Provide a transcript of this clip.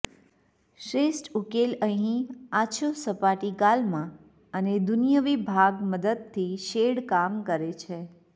શ્રેષ્ઠ ઉકેલ અહીં આછો સપાટી ગાલમાં અને દુન્યવી ભાગ મદદથી શેડ કામ કરે છે